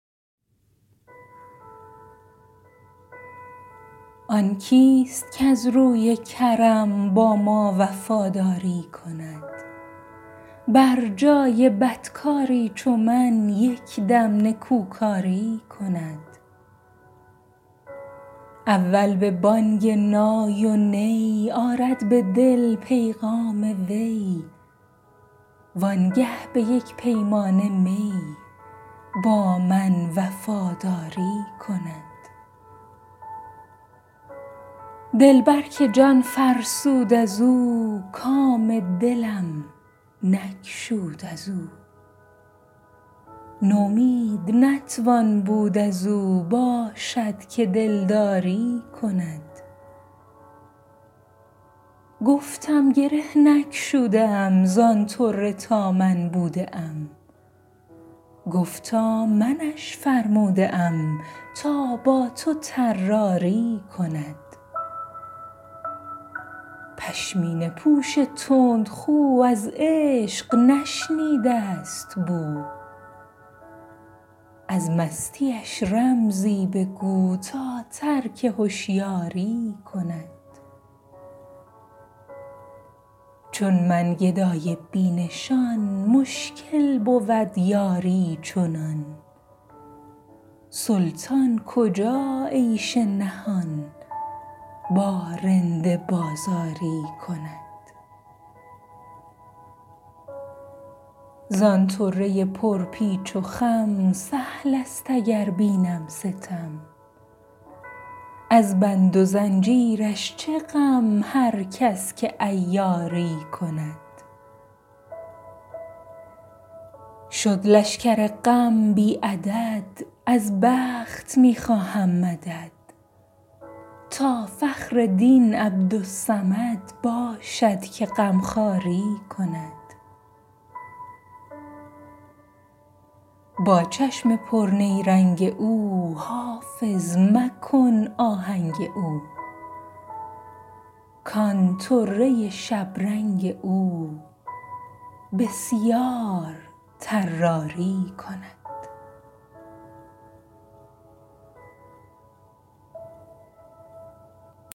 آن کیست کز روی کرم با ما وفاداری کند بر جای بدکاری چو من یک دم نکوکاری کند اول به بانگ نای و نی آرد به دل پیغام وی وانگه به یک پیمانه می با من وفاداری کند دلبر که جان فرسود از او کام دلم نگشود از او نومید نتوان بود از او باشد که دلداری کند گفتم گره نگشوده ام زان طره تا من بوده ام گفتا منش فرموده ام تا با تو طراری کند پشمینه پوش تندخو از عشق نشنیده است بو از مستیش رمزی بگو تا ترک هشیاری کند چون من گدای بی نشان مشکل بود یاری چنان سلطان کجا عیش نهان با رند بازاری کند زان طره پرپیچ و خم سهل است اگر بینم ستم از بند و زنجیرش چه غم هر کس که عیاری کند شد لشکر غم بی عدد از بخت می خواهم مدد تا فخر دین عبدالصمد باشد که غمخواری کند با چشم پرنیرنگ او حافظ مکن آهنگ او کان طره شبرنگ او بسیار طراری کند